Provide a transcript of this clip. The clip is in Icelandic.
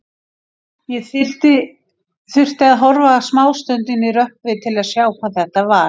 Ég þurfti að horfa smástund inn í rökkrið til að sjá hvað þetta var.